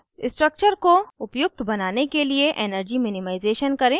structure को उपयुक्त बनाने के लिए energy minimization करें